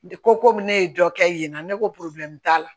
Ko komi ne ye dɔ kɛ yen n ko t'a la